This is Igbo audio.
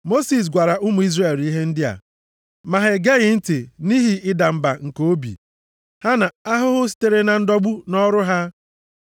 Mosis gwara ụmụ Izrel ihe ndị a, ma ha egeghị ntị nʼihi ịda mba nke obi ha na ahụhụ sitere na ndọgbu nʼọrụ ha.